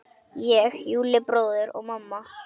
Ég, Júlli bróðir og mamma.